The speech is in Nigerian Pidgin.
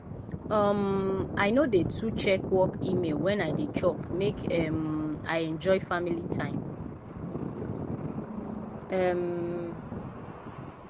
um i no dey too check work email wen i dey chop make um i enjoy family time. um